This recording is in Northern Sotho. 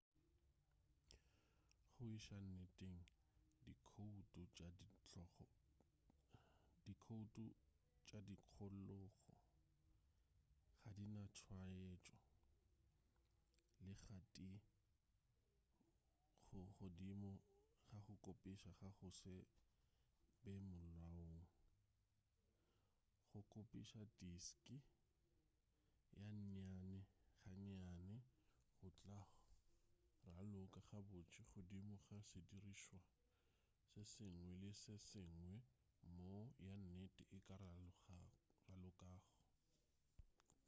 go iša nneteng dikhoutu tša tikologo ga di na tswaetšo le ga tee go godimo ga go kopisa ga go se be molaong go kopisa diski ga nnyane-ga-nnyane go tla raloka gabotse godimo ga sedirišwa se sengwe le se sengwe moo ya nnete e ka ralokago